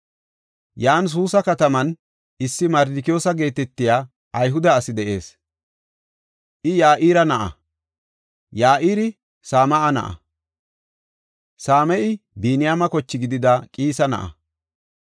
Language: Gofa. Yan Suusa kataman issi Mardikiyoosa geetetiya Ayhude asi de7ees. I Ya7ira na7a; Ya7iri Same7a na7a; Same7i Biniyaame koche gidida Qiisa na7a.